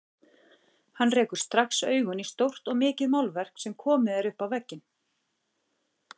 Hann rekur strax augun í stórt og mikið málverk sem er komið upp á vegg.